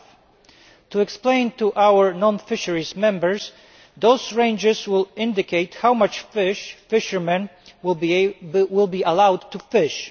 5. To explain to our non fisheries Members, those ranges will indicate how much fish fishermen will be allowed to fish.